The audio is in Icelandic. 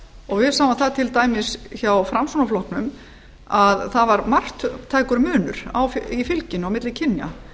og við sjáum það til dæmis hjá framsfl að það var marktækur munur í fylginu á milli kynja